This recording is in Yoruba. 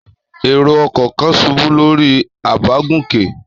Èrò-ọkọ̀ kan ṣubú lórí àbágùnkè?